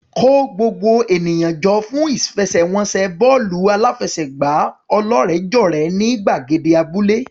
Kó gbogbo ènìyàn jọ fún ìfẹsẹ̀wọnsẹ̀ bọ́ọ̀lù aláfẹsẹ̀gbá ọlọ́rẹ̀ẹ́jọ̀rẹ́ ní gbàgede abúlé.